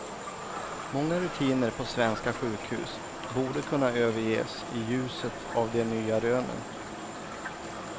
Många rutiner på svenska sjukhus borde kunna överges i ljuset av de nya rönen.